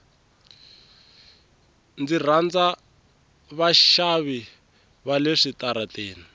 ndzi rhandza vaxavisi vale switarateni